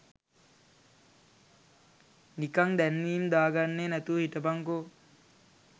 නිකං දැන්වීම් දාගන්නේ නැතුව හිටපන්කෝ.